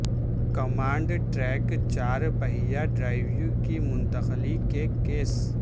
command track چار پہیا drive کی منتقلی کے کیس